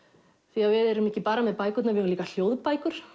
því við erum ekki bara með bækurnar við eigum líka hljóðbækur